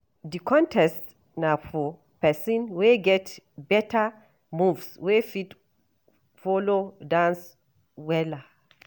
Di contest na for pesin wey get beta moves wey fit folo dance wella.